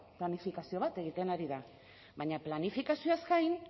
planifikazio bat egiten ari da baina planifikazioaz gain